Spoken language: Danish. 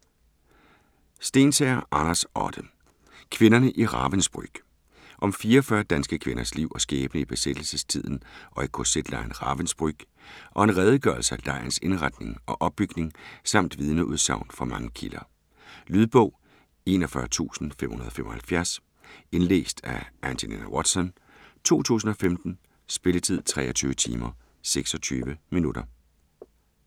Stensager, Anders Otte: Kvinderne i Ravensbrück Om 44 danske kvinders liv og skæbne i besættelsestiden og i kz-lejren Ravensbrück, og en redegørelse af lejrens indretning og opbygning samt vidneudsagn fra mange kilder. Lydbog 41575 Indlæst af Angelina Watson, 2015. Spilletid: 23 timer, 26 minutter.